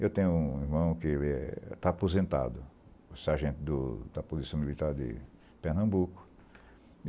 Eu tenho um irmão que está aposentado, sargento do da Polícia Militar de Pernambuco.